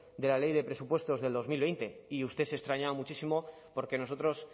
de la ley de presupuestos de dos mil veinte y usted se extrañaba muchísimo porque nosotros